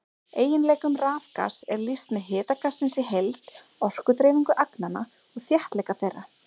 Eiginleikum rafgass er lýst með hita gassins í heild, orkudreifingu agnanna og þéttleika þeirra.